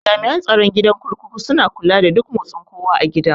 Jami'an tsaron gidan kurkuku suna kula da duk motsin kowa a gidan